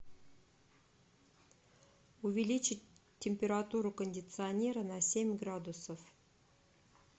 увеличить температуру кондиционера на семь градусов